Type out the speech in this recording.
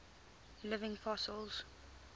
living fossils